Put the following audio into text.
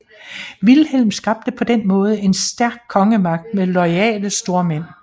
Vilhelm skabte på denne måde en stærk kongemagt med loyale stormænd